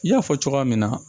I y'a fɔ cogoya min na